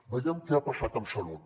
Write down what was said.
veiem què ha passat amb salut